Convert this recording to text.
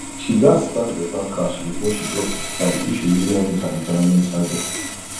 she gats stack better cash before she clock 55 if she really wan meet her retirement target